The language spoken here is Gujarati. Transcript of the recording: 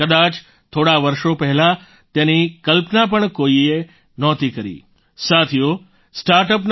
કદાચ થોડા વર્ષો પહેલાં તેની કલ્પના પણ કોઈ નહોતું કરી શકતું